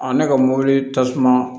ne ka mobili tasuma